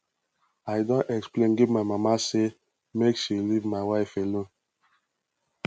i don explain give my mama sey make she leave my wife alone